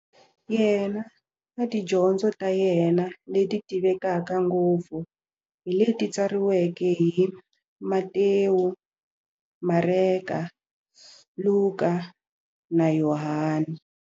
Yena na tidyondzo ta yena, leti tivekaka ngopfu hi leti tsariweke hi-Matewu, Mareka, Luka, na Yohani.